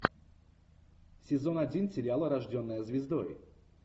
сезон один сериала рожденная звездой